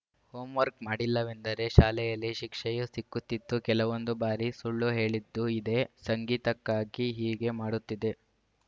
home work ಮಾಡಿಲ್ಲವೆಂದರೆ ಶಾಲೆಯಲ್ಲಿ ಶಿಕ್ಷೆಯೂ ಸಿಕ್ಕುತ್ತಿತ್ತು ಕೆಲವೊಂದು ಬಾರಿ ಸುಳ್ಳು ಹೇಳಿದ್ದು ಇದೆ ಸಂಗೀತಕ್ಕಾಗಿ ಹೀಗೆ ಮಾಡುತ್ತಿದ್ದೆ